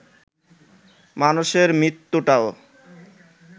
মানুষের মৃত্যুটাও